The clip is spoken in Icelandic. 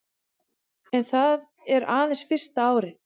En það er aðeins fyrsta árið